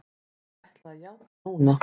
Ég ætla að játa núna.